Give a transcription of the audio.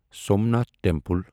Somnath temple